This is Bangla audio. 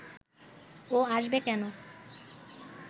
ও আসবে কেন